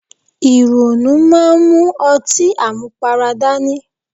Ìrònú máa ń mú ọtí àmupara dání.